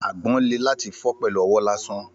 Àgbọn le láti fi pẹlu owó lásán